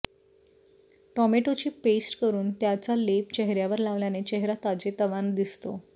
टोमॅटोची पेस्ट करून त्याचा लेप चेहऱ्यावर लावल्याने चेहरा ताजेतवानं दिसतो